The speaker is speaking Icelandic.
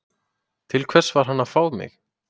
Til hvers var hann að fá mig?